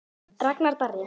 Ragnar Darri.